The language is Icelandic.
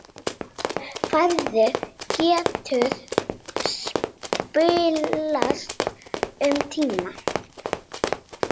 Færð getur spillst um tíma.